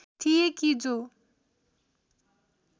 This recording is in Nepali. थिए कि जो